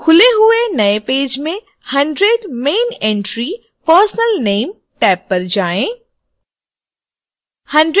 खुले हुए नए पेज में 100 main entry personal name tab पर जाएँ